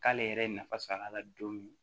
K'ale yɛrɛ ye nafa sɔrɔ a la don min